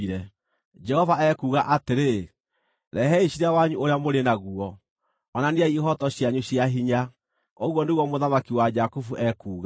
Jehova ekuuga atĩrĩ, “Rehei ciira wanyu ũrĩa mũrĩ naguo. Onaniai ihooto cianyu cia hinya,” ũguo nĩguo Mũthamaki wa Jakubu ekuuga.